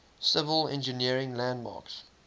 civil engineering landmarks